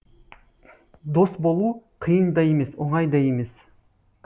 дос болу қиын да емес оңай да емес